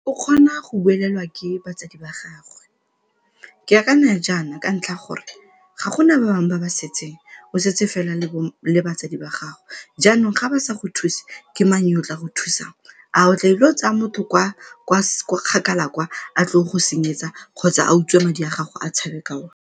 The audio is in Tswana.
O kgona go buelelwa ke batsadi ba gagwe. Ke akanya jaana ka ntlha ya gore ga gona ba bangwe ba ba setseng, o setse fela le batswadi ba gago jaanong ga ba sa go thuse ke mang yo o tla go thusang? A o tlaile go tsaya motho kwa kgakala kwa a tl'o go go senyetsa kgotsa a utswe madi a gago a tshabe ka one.